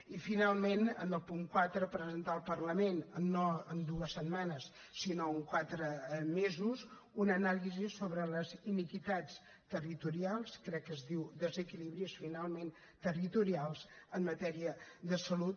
i finalment en el punt quatre presentar al parlament no en dues setmanes sinó en quatre mesos una anàlisi sobre les iniquitats territorials crec que es diu desequilibris finalment territorials en matèria de salut